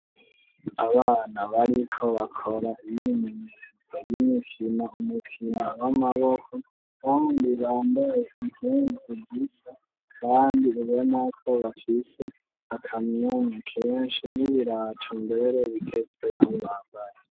Abana, bariko bakora, imyimenyerezo, n'imikino, umukino w'amaboko abandi bambaye impuzu zisa, kandi ubonako bafise akamwemwe kenshi ,n'ibirato mbere, bigezweho bambaye.